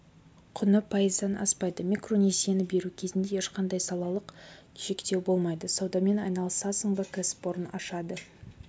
құны пайыздан аспайды микронесиені беру кезінде ешқандай салалық шектеу болмайды саудамен айналысасың ба кәсіпорын ашады